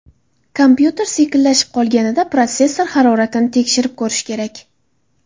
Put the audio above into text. Kompyuter sekinlashib qolganida protsessor haroratini tekshirib ko‘rish kerak.